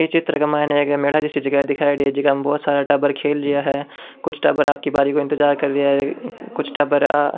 ये चित्र के माइन एक मेला जैसा जिगा दिखायेडी है जीका में बहुत सारा टाबर खेल रेया है कुछ टाबर आपकी बारी का इंतजार कर रा है कुछ टाबर आ --